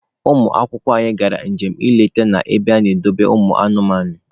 Ụmụ akwụkwọ anyị gara njem nleta na ebe ana-edobe ụmụ anụmanụ.